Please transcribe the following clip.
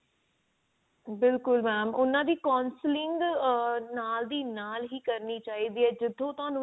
ਬਿਲਕੁਲ mam ਉਹਨਾਂ ਦੀ counselling ਆ ਨਾਲ ਦੀ ਨਾਲ ਹੀ ਕਰਨੀ ਚਾਹੀਦੀ ਹੈ ਜਿਥੋਂ ਤੁਹਾਨੂੰ